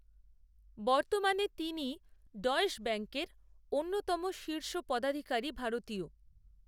বর্তমানে তিনিই ডয়েশ ব্যাঙ্কের অন্যতম শীর্ষ পদাধিকারী ভারতীয়